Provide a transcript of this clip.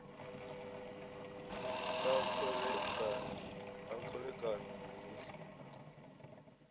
a khovhekano hu si na